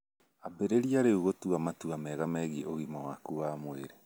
Ambĩrĩrie rĩu gũtua matua mega megiĩ ũgima waku wa mwĩrĩ.